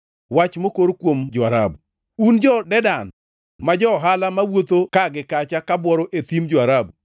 Wach mokor kuom jo-Arabu: Un jo-Dedan ma jo-ohala mawuotho ka gi kacha ka bworo e thim jo-Arabu,